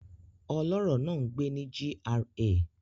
Ọlọ́rọ̀ náà ń gbé ní GRA